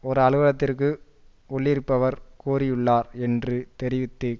ஒரு அலுவலகத்திற்கு உள்ளிருப்பவர் கூறியுள்ளார் என்று தெரிவித்து